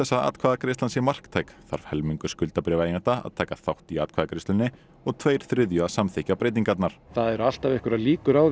að atkvæðagreiðslan sé marktæk þarf helmingur skuldabréfaeigenda að taka þátt í atkvæðagreiðslunni og tveir þriðju að samþykkja breytingarnar það eru alltaf einhverjar líkur á